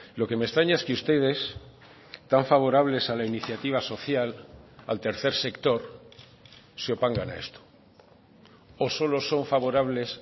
lo que me extraña es que ustedes tan favorables a la iniciativa social al tercer sector se opongan a esto o solo son favorables